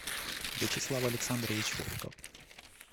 вячеслав александрович волков